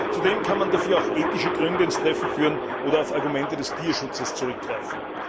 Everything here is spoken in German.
Zudem kann man dafür auch ethische Gründe ins Treffen führen oder auf Argumente des Tierschutzes zurückgreifen.